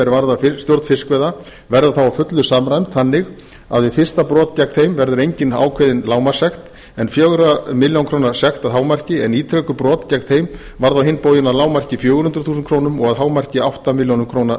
varða stjórn fiskveiða verða þá að fullu samræmd þannig að við fyrsta brot gegn þeim verður engin ákveðin lágmarkssekt en fjögur á milljón króna sekt að hámarki en ítrekuð brot gegn þeim varða á hinn bóginn að lágmarki fjögur hundruð þúsund krónur og að hámarki átta milljónir króna